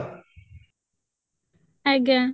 ଆଜ୍ଞା